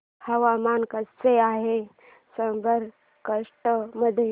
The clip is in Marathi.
हवामान कसे आहे साबरकांठा मध्ये